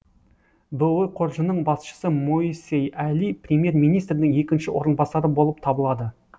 бұұ қоржынының басшысы моисей әли премьер министрдің екінші орынбасары болып табылады